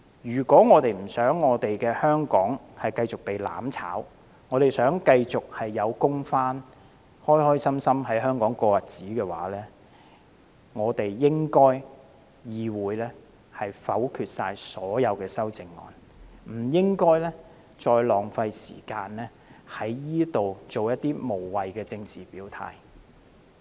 如果我們不想香港繼續被"攬炒"，希望市民繼續有工作，可以開開心心在香港過日子，便應該否決所有修正案，而不應繼續浪費時間在此作出無謂的政治表態。